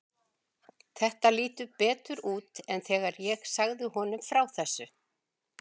Þetta lítur betur út en þegar ég sagði honum frá þessu.